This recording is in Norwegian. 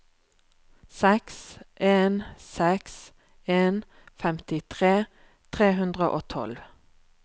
seks en seks en femtitre tre hundre og tolv